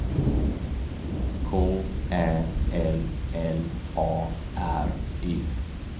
K Ä L L A R E